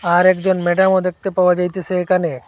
আরেকজন ম্যাডামও দেখতে পাওয়া যাইতেসে একানে।